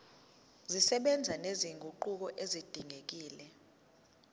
zisebenza nezinguquko ezidingekile